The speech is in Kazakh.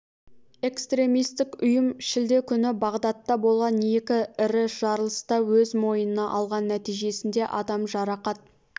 экстремистік ұйым шілде күні бағдадта болған екі ірі жарылысты өз мойнына алған нәтижесінде адам жарақат